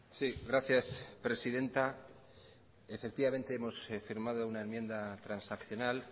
gracias presidenta hemos firmado una enmienda transaccional